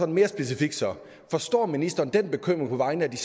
mere specifikt forstår ministeren den bekymring på vegne af de